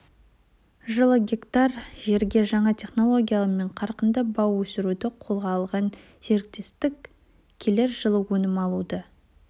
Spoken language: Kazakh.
жылы гектар жерге жаңа технологиямен қарқынды бау өсіруді қолға алған серіктестік келер жылы өнім алуды